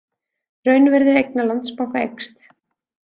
Raunvirði eigna Landsbanka eykst